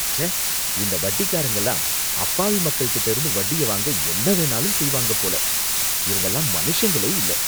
ச்சே! இந்த வட்டிக் காரங்கலாம் அப்பாவி மக்கள்கிட்ட இருந்து வட்டிய வாங்க என்ன வேணும்னாலும் செய்வாங்க போல, இவங்கலாம் மனுஷங்களே இல்ல!